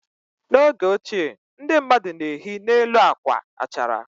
N'oge ochie ndị mmadụ na-ehi n'elu akwa achara.